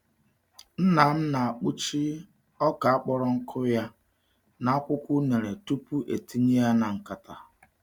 Nna m na-akpuchi ọka kpọrọ nkụ ya n’akwụkwọ unere tupu etinye ya na nkata.